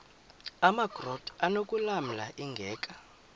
amakrot anokulamla ingeka